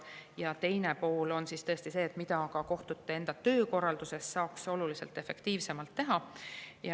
Ja teine pool on see, mida ka kohtute enda töökorralduses saaks oluliselt efektiivsemalt teha.